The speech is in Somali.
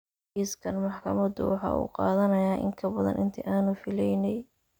Kiiskan maxkamaddu waxa uu qaadanayaa in ka badan intii aanu filaynay.